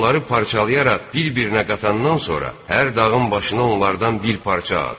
Onları parçalayaraq bir-birinə qatandan sonra, hər dağın başına onlardan bir parça at.